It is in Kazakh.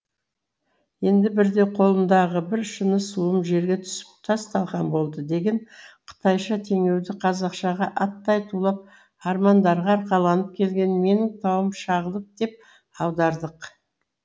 енді бірде қолымдағы бір шыны суым жерге түсіп тас талқан болды деген қытайша теңеуді қазақшаға аттай тулап армандарға арқаланып келген менің тауым шағылып деп аудардық